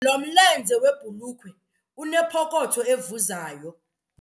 Lo mlenze webhulukhwe unepokotho evuzayo.